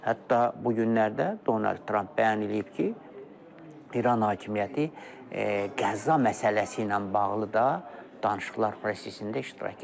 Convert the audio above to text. Hətta bu günlərdə Donald Tramp bəyan eləyib ki, İran hakimiyyəti qəza məsələsi ilə bağlı da danışıqlar prosesində iştirak edib.